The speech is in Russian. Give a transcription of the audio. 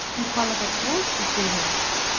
бухала как сволочь последняя